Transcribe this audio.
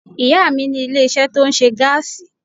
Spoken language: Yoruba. Ìyá à mi ní ilé isé tó ńṣe gáàsì